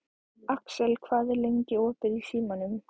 Axel, hvað er lengi opið í Símanum?